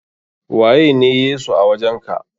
Waye ne Yesu a wajen ka?